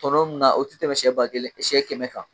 Tɔnɔ mun na o tɛ tɛmɛ sɛ ba kelen sɛ kɛmɛ kan